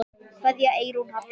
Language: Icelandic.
Kveðja, Eyrún Halla.